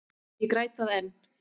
Ég græt það enn.